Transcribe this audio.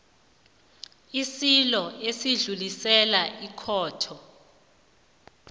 isililo esidluliselwa ekhotho